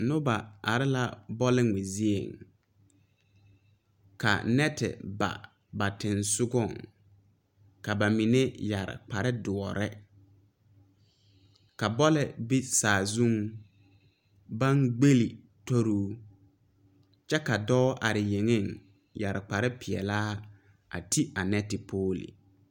Noba are la bɔlngmɛ zieŋ ka nɛti ba ba teŋsugɔŋ ka ba mine yɛre kpare dɔɔre ka bɔle be saazuŋ baŋ gbel tori oo kyɛ ka dɔɔ are yeŋeŋ yɛre kpare peɛɛlaa a te a nɛti poole.